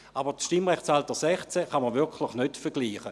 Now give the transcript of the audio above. Das Stimmrechtsalter 16 kann man aber wirklich nicht damit vergleichen.